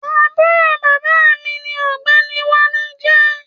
Àbúrò bàbá mi ni ọ̀gbẹ́ni Wálé jẹ́.